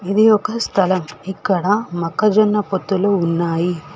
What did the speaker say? ఇది ఒక స్థలం ఇక్కడ మొక్కజొన్న పొత్తులు ఉన్నాయి.